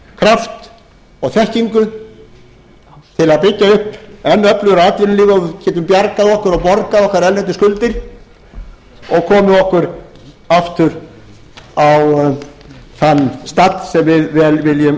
kraft og þekkingu til að byggja upp enn öflugra atvinnulíf og við getum bjargað okkur og borgað okkar erlendu skuldir og komið okkur aftur á þann stall sem við viljum vera